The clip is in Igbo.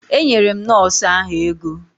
Enyere m nọọsụ ahụ ego.